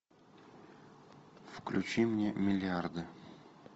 включи мне миллиарды